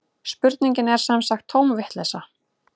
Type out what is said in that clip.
Spurningin er sem sagt tóm vitleysa